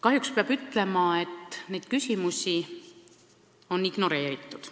Kahjuks peab ütlema, et neid küsimusi on ignoreeritud.